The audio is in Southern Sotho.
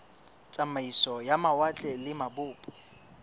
tsamaiso ya mawatle le mabopo